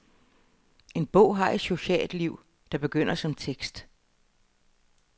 En bog har et socialt liv, der begynder som tekst.